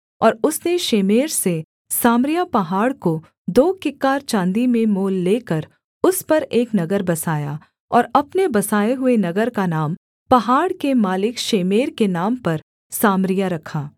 और उसने शेमेर से सामरिया पहाड़ को दो किक्कार चाँदी में मोल लेकर उस पर एक नगर बसाया और अपने बसाए हुए नगर का नाम पहाड़ के मालिक शेमेर के नाम पर सामरिया रखा